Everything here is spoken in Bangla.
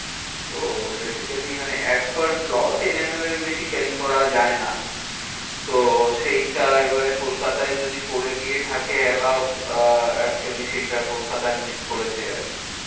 তো basically মানে as per law ten ML এর বেশি carry করা যায় না। তো সেইটা এবারে কলকাতায় যদি করে দিয়ে থাকে allow আহ actually সেইটা কলকাতায় miss করেছে আর কি।